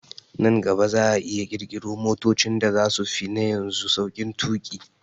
Nan gaba za'a iya ƙirƙiro motocin da zasu fi na yanzu sauƙin tuƙi